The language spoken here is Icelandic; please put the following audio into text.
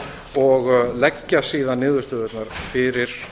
og leggja síðan niðurstöðurnar fyrir